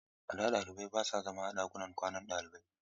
A da, ɗalibai ba sa zama a ɗakunan kwanan ɗalibai.